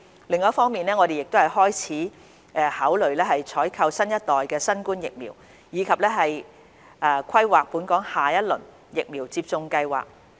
另一方面，我們亦開始考慮採購新一代新冠疫苗，以及規劃本港下一輪疫苗接種計劃。